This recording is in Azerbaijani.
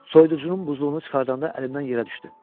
Soyuducunun buzluğunu çıxardanda əlimdən yerə düşdü.